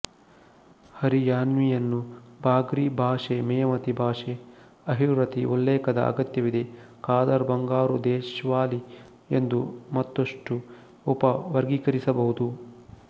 ಹರಿಯಾನ್ವಿಯನ್ನು ಬಾಗ್ರಿ ಭಾಷೆ ಮೇವತಿ ಭಾಷೆ ಅಹಿರ್ವತಿ ಉಲ್ಲೇಖದ ಅಗತ್ಯವಿದೆ ಖಾದರ್ ಬಂಗಾರು ದೇಶ್ವಾಲಿ ಎಂದು ಮತ್ತಷ್ಟು ಉಪವರ್ಗೀಕರಿಸಬಹುದು